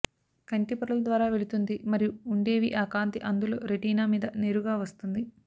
కంటి పొరలు ద్వారా వెళుతుంది మరియు ఉండేవి ఆ కాంతి అందులో రెటీనా మీద నేరుగా వస్తుంది